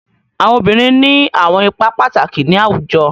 Awọn obirin ni awọn ipa pataki ni awujọ